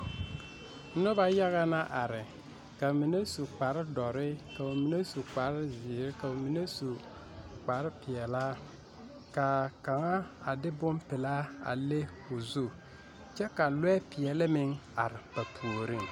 Noba yaga na are ka ba mine su kpaar dɔre ka ba su kpaar zeɛre, ka ba mine su kpaar pilaa ka kaŋa a de bon pilaa a leŋ o zu kyɛ ka lɔɛ pɛɛle meŋ are ba puoriŋ